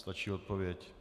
Stačí odpověď.